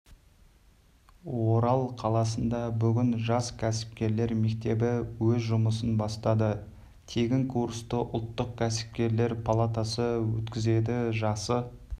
орал қаласында бүгін жас кәсіпкерлер мектебі өз жұмысын бастады тегін курсты ұлттық кәсіпкерлер палатасы өткізеді жасы